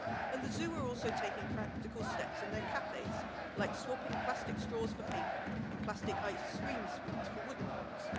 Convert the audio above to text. And the zoo are also taking practical steps in its cafés, like swapping plastic straws for paper and plastic ice cream spoons for wooden ones.